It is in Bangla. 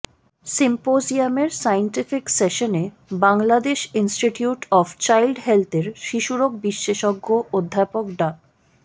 সিম্পোজিয়ামের সায়েন্টিফিক সেশনে বাংলাদেশ ইনস্টিটিউট অব চাইল্ড হেলথের শিশুরোগ বিশেষজ্ঞ অধ্যাপক ডা